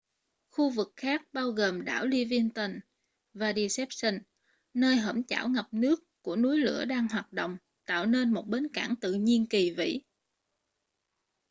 khu vực khác bao gồm đảo livingston và deception nơi hõm chảo ngập nước của núi lửa đang hoạt động tạo nên một bến cảng tự nhiên kỳ vĩ